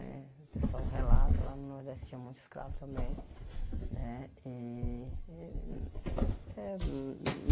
Né o pessoal relata lá no Nordeste tinha muito escravo também. Né e eh eh hum